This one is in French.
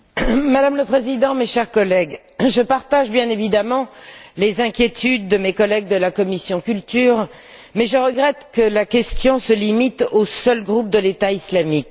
Madame la Présidente, mes chers collègues, je partage bien évidemment les inquiétudes de mes collègues de la commission CULT, mais je regrette que la question se limite au seul groupe État islamique.